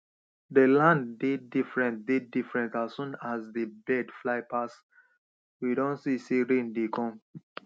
dey land dey different dey different as soon as dey birds fly pass we don see sey rain dey come